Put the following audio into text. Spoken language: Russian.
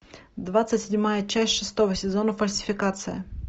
двадцать седьмая часть шестого сезона фальсификация